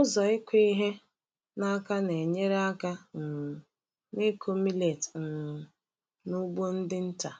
Ụzọ ịkụ ihe n’aka na-enyere aka um n’ịkụ millet um n’ugbo ndị nta.